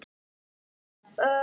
Hvort ég héldi það?